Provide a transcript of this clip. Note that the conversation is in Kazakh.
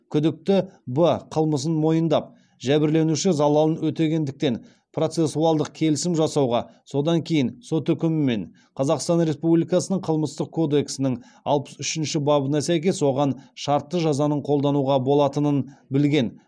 күдікті б қылмысын мойындап жәбірленуші залалын өтегендіктен процессуалдық келісім жасауға содан кейін сот үкімімен қазақстан республикасының қылмыстық кодексінің алпыс үшінші бабына сәйкес оған шартты жазаның қолдануға болатынын білген